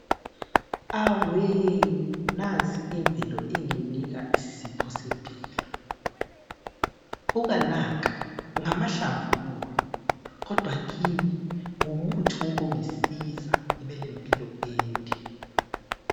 Awe nansi imvelo inginika isipho sempilo, buka nanka ngamahlamvu kuwe kodwa kimi ngumuthi wokungisiza ngibe lempilo ende.